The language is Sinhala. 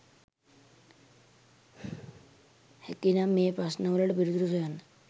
හැකිනම් ඒ ප්‍රශ්න වලට පිළිතුරු සොයන්න